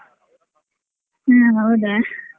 ಹಾ ಹೌದಾ.